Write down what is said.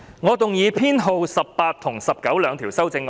我動議編號18及19的修正案。